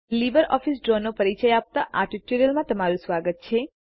LibreOffice ડ્રોનો પરિચય આપતા આ ટ્યુટોરીઅલમાં તમારું સ્વાગત છે